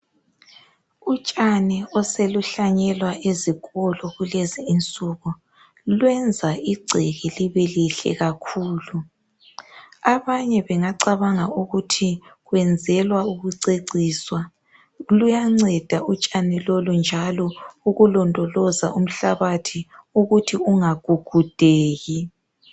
Utshani oseluhlanyelwa ezikolo kulezinsuku lwenza igceke libe lihle kakhulu , abanye bengacabanga ukuthi kwenzelwa ukuceciswa , luyanceda utshani lolu njalo ukulondoloza umhlabathi ukuthi ungagugudeki